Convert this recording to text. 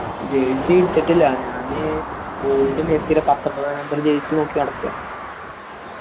jersey എടുത്തിട്ടില്ല ഞാൻ old മെസ്സിടെ പത്തൊമ്പതാം number jersey നടക്ക